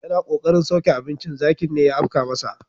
Yana kokarin sauke abincin zakin ne ya afka masa.